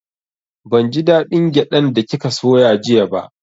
Ban ji da ɗin gyaɗan da kika soya jiya ba